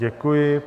Děkuji.